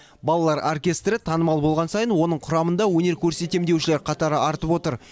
балалар оркестрі танымал болған сайын оның құрамында өнер көрсетемін деушілер қатары артып отыр